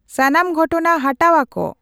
ᱥᱟᱱᱟᱢ ᱜᱷᱚᱴᱚᱱᱟ ᱦᱟᱴᱟᱣ ᱟᱠᱚ